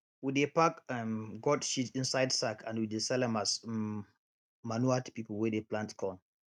we dey pack um goat shit inside sack and we dey sell am as um manure to pipu wey dey plant corn